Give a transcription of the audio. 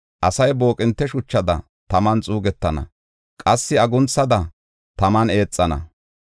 Asay booqinte shuchada taman xuugetana; qassi agunthada taman eexana.